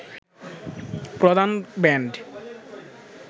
প্রধান ব্যান্ড